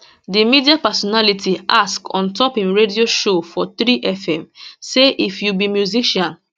di media personality ask on top im radio show for 3fm say if you be musician